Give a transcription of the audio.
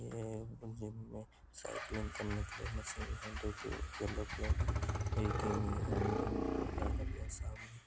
ये एक जिम में साइकिलिंग (cycling) करने के लिए मसीन (machine) दो के येलो(yellow) कलर(colour) की सामने.